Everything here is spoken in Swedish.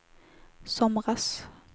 somras